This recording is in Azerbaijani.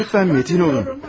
Lütfən metin olun.